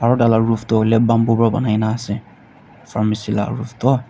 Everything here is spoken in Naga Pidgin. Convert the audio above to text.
aro tai la roof toh hoile bamboo para banai kena ase pharmacy laga roof toh.